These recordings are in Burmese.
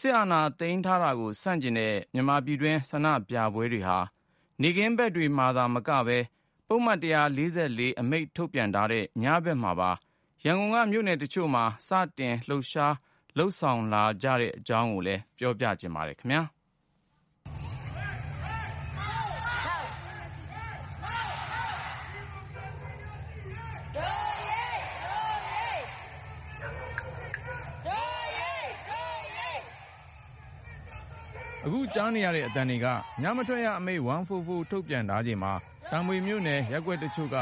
စစ်အာဏာသိမ်းထားတာကို ဆန့်ကျင်တဲ့ ဆန္ဒပြပွဲတွေဟာ နေ့ခင်းဖက်မှာသာမကပဲ ပုဒ်မ အမိန့်ထုတ်ထားတဲ့ ညဘက်အချိန်မှာပါ ရန်ကုန်ရဲ့ မြို့နယ်တချို့မှာ စတင်လုပ်ဆောင်လာနေတဲ့ အကြောင်း ကိုဉာဏ်ဝင်းအောင်က ပြောပြမှာပါ။ “ သပိတ် သပိတ် မှောက်.. မှောက် ၊ ဒီမိုကရေစီရရှိရေး တို့အရေး.. တို့အရေး ၊ စစ်အာဏာရှင်စနစ် ကျဆုံးရေး.. တို့ အရေး တို့အရေး ..” အခုကြားနေရတဲ့ အသံတွေက ညမထွက်ရအမိန့် 144 ထုတ်ထားချိန်မှာ တာမွေမြို့နယ် ရပ်ကွက်တချို့က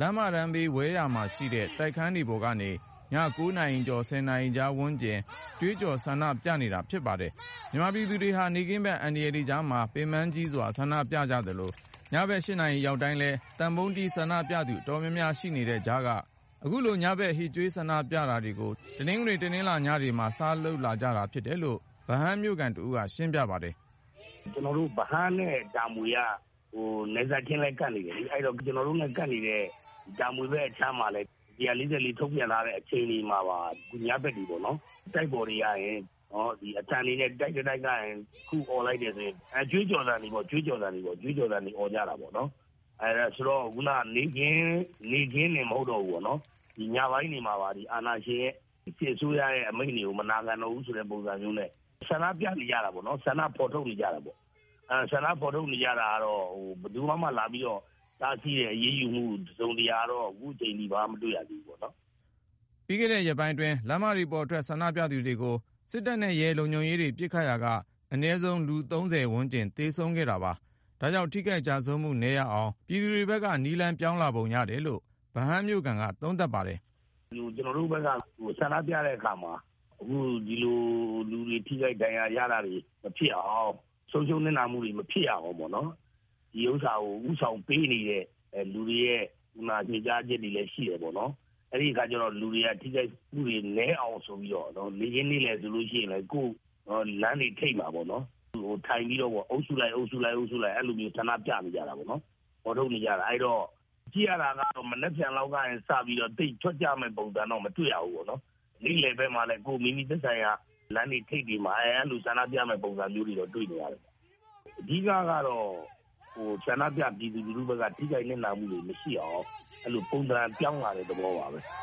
လမ်းမတန်းဘေး ဝဲယာမှာရှိတဲ့ တိုက်ခန်းတွေပေါ်ကနေ ည ၉ နာရီကျော် ၁၀ နာရီကြားဝန်းကျင် ကြွေးကြော် ဆန္ဒပြနေကြတာဖြစ်ပါတယ်။ မြန်မာပြည်သူတွေဟာ နေ့ခင်းဖက် အန္တရာယ်တွေကြားမှာ ပင်ပန်းကြီးစွာ ဆန္ဒပြကြသလို ၊ ည ၈ နာရီ ရောက်တိုင်းလည်း သံပုံးတီးဆန္ဒပြသူ အတော်များများ ရှိနေတဲ့ကြားက ခုလိုညဘက် ဟစ်ကြွေးဆန္ဒပြတာတွေကို တနင်္ဂနွေ ၊ တနင်္လာညတွေမှာ စလုပ်လာကြတယ်လို့ ဗဟန်းမြို့ခံတဦးက ရှင်းပြပါတယ်။ “ကျနော်တို့ ဗဟန်းနဲ့ တာမွေက နယ်စပ်ချင်းလည်း ကပ်နေတယ်လေ။ အဲဒီတော့ ကျနော်တို့နဲ့ ကပ်နေတဲ့ တာမွေဘက်အခြမ်းမှာ၁၄၄ ထုတ်ပြန်ထားတဲ့ အခြေအနေမှာပါ ။ အခုညဘက်တွေကနေပေါ့နော် တိုက်ပေါ်မှာ အသံတွေနဲ့ တိုက် တတိုက်ကနေ အော်လိုက်တယ်ဆိုရင် ကြွေးကြော်သံတွေပေါ့ အော်ကြတာပေါ့။ ဆိုတော့ ခုက နေ့ခင်းတင်မဟုတ်တော့ဘူးပေါ့ ၊ ညပိုင်းတွေမှာပါ အာဏာရှင် စစ်အစိုးရရဲ့ အမိန့်တွေကို မနာခံတော့ဘူးဆိုတဲ့ပုံစံမျိုးနဲ့ ဆန္ဒပြနေကြတာပေါ့နော်၊ ဆန္ဒဖော်ထုတ်နေကြတာပေါ့နော်။ ဆန္ဒဖော်ထုတ်နေကြတာကတော့ ဘယ်သူကမှ တားဆီးတယ် အရေးယူတယ်ဆိုတာမျိုး တစုံတရာကတော့ အခုအချိန်အထိ မတွေ့ရသေးဘူး။” ပြီးခဲ့တဲ့ ရက်ပိုင်းအတွင်း လမ်းမပေါ်ထွက် ဆန္ဒပြသူတွေကို စစ်တပ်နဲ့ရဲ လုံခြုံရေးတွေ ပစ်ခတ်ရာက အနည်းဆုံးလူ ၃၀ ဝန်းကျင် သေဆုံးခဲ့တာပါ။ ဒါကြောင့် ထိခိုက်ကျဆုံးမှု နည်းရအောင် ပြည်သူတွေဘက်က နည်းလမ်းပြောင်းသုံးလာပုံ ရတယ်လို့ ဗဟန်းမြို့ခံက သုံးသပ်ပါတယ်။ “ကျနော်တို့ဘက်က ဆန္ဒပြတဲ့အခါမှာ အခုဒီလို လူတွေ ထိခိုက်ဒဏ်ရာရတာတွေ မဖြစ်အောင် ၊ ဆုံးရှုံးနစ်နာမှုတွေ မဖြစ်အောင် ပေါ့နော် ဒီဟာကို ဦးဆောင်ပေးနေတဲ့ လူတွေရဲ့ ညွှန်ကြားချက်တွေလည်း ရှိတယ်ပေါ့လေ။ အဲဒီအခါကျတော့ လူတွေက ထိခိုက်မှုတွေနည်းအောင်ဆိုပြီးတော့ နေ့ခင်းနေ့လည်ဆိုရင်လည်း လမ်းတွေထိပ်မှာပေါ့နော် ထိုင်ပြီးတော့ အုပ်စုလိုက် အုပ်စုလိုက် အဲဒီလို ဆန္ဒပြနေကြတာပေါ့နော်။ အဲဒီတော့ ကြည့်ရတာကတော့ မနက်ဖြန်လောက်ကနေစပြီးတော့ သိပ်ထွက်ကြမယ့် ပုံစံတော့ မတွေ့ရဘူးပေါ့နော်။ နေလည်ဘက်မှာလည်း မိမိသက်ဆိုင်ရာ လမ်းတွေထိပ်တွေမှာ ဆန္ဒပြမယ့် ပုံစံမျိုးတွေတော့ တွေ့နေရတယ်။ အဓိကတော့ ဆန္ဒပြပြည်သူလူထုဘက်က ထိခိုက်နစ်နာမှုတွေ မရှိအောင် အဲလို ပုံစံပြောင်းလာတဲ့ သဘောပါပဲ။”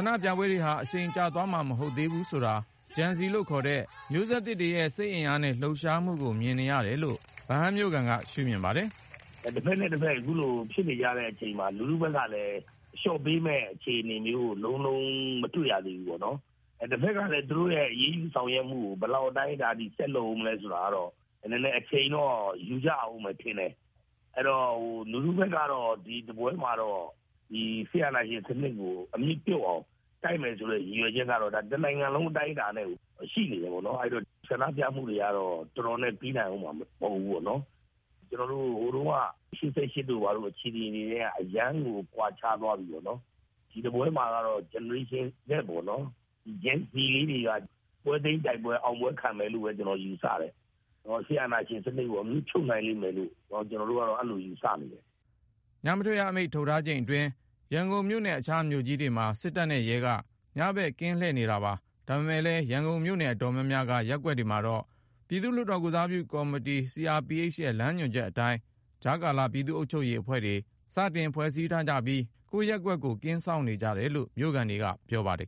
ဆန္ဒပြပွဲတွေဟာ အရှိန်ကျသွားဦးမှာ မဟုတ်သေးဘူးဆိုတာ Gen-Z လို့ခေါ်တဲ့ မျိုးဆက်သစ်တွေရဲ့ စိတ်အင်အားနဲ့ လှုပ်ရှားမှုတွေကို မြင်နေရတယ်လို့ ဗဟန်းမြို့ခံက ရှုမြင်ပါတယ်။ “တဖက်နဲ့တဖက် အခုလိုဖြစ်နေကြတဲ့အချိန်မှာ လူထုဘက်ကလည်း အလျှော့ပေးမယ့် အခြေအနေမျိုးကို လုံးလုံးကြီး မတွေ့ရသေးဘူးပေါေ့နာ်။ တဖက်ကလည်း သူတို့ရဲ့ အရေးယူဆောင်ရွက်မှုကို ဘယ်လောက်အတိုင်းအတာအထိ ဆက်လုပ်ဦးမလဲဆိုတာတော့ နည်းနည်းအချိန်တော့ ယူကြရဦးမယ်ထင်တယ်။ အဲဒီတော့ လူထုဘက်ကတော့ ဒီတပွဲမှာတော့ စစ်အာဏာရှင်စနစ်ကို အမြစ်ပြုတ်အောင် တိုက်မယ်ဆိုတဲ့ ရည်ရွယ်ချက်ကတော့ တနိုင်ငံလုံး အတိုင်းအတာနဲ့ ရှိနေတယ်ပေါေ့နာ်။ အဲဒီတော့ ဆန္ဒပြမှုတွေကတော့ တော်တော်နဲ့ ပြီးနိုင်ဦးမှာ မဟုတ်ဘူး ပေါ့နော်။ ကျနော်တို့ ဟိုတုန်းက ၈၈ တုန်းက အခြေအနေတွေနဲ့ အရမ်းကို ကွာခြားသွားပြီပေါ့နော် ။ ဒီတပွဲမှာတော့ Gen-Z တွေက ပွဲသိမ်း အောင်ပွဲခံမယ်လို့ ကျနော်ယူဆတယ်။ စစ်အာဏာရှင်စနစ်ကို အမြစ်ဖြုတ်နိုင်မယ်လို့ ကျနော်တို့ကတော့ အဲဒီလို ယူဆနေတယ်။” ညမထွက်ရအမိန့် ထုတ်ထားတဲ့ချိန်အတွင်း ရန်ကုန်မြို့နဲ့အခြားမြို့ကြီးတွေမှာ စစ်တပ်နဲ့ရဲ့က ညဖက် ကင်းလှည့်နေတာပါ။ ဒါပေမယ့်လည်း ရန်ကုန် မြို့နယ်အတော်များများက ရပ်ကွက်တွေမှာတော့ ပြည်သူ့လွှတ်တော် ကိုယ်စားပြုကော်မတီ CRPH ရဲ့လမ်းညွှန်ချက်အတိုင်း ကြားကာလ ပြည်သူ့အုပ်ချုပ်ရေးအဖွဲ့တွေ ဖွဲ့စည်းထားကြပြီး ကိုယ့်ရပ်ကွက်ကို ကင်းစောင့်နေကြရတယ်လို့ မြို့ခံတွေက ပြောပါတယ်